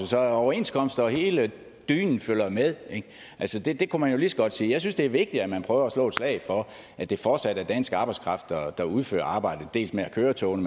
så overenskomster og hele dynen følger med altså det kunne lige så godt sige jeg synes det er vigtigt at man prøver at slå et slag for at det fortsat er dansk arbejdskraft der udfører arbejdet dels med at køre togene